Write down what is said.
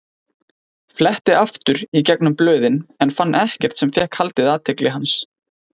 Fletti aftur í gegnum blöðin en fann ekkert sem fékk haldið athygli hans.